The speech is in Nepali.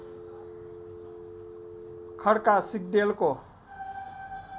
खड्का सिग्देलको